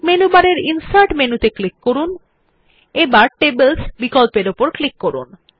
menu bar এর insert মেনুত়ে click করুন এবং টেবলস বিকল্পর উপর ক্লিক করুন